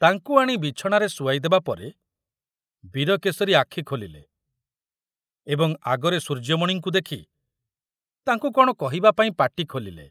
ତାଙ୍କୁ ଆଣି ବିଛଣାରେ ଶୁଆଇ ଦେବାପରେ ବୀରକେଶରୀ ଆଖି ଖୋଲିଲେ ଏବଂ ଆଗରେ ସୂର୍ଯ୍ୟମଣିଙ୍କୁ ଦେଖି ତାଙ୍କୁ କଣ କହିବା ପାଇଁ ପାଟି ଖୋଲିଲେ।